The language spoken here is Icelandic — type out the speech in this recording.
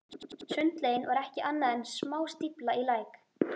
Sundlaugin var ekki annað en smástífla í læk.